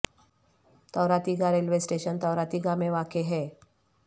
تورا تیگا railway station تورا تیگا میں واقع ہے